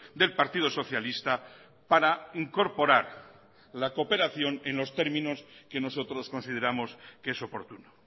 del partido socialista para incorporar la cooperación en los términos que nosotros consideramos que es oportuno